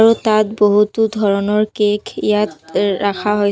আৰু তাত বহুতো ধৰণৰ কেক ইয়াত ৰাখা হৈছ-- -